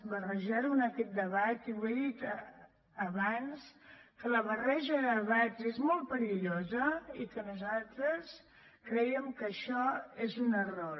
barrejar ho en aquest debat i ho he dit abans que la barreja de debats és molt perillosa i que nosaltres crèiem que això és un error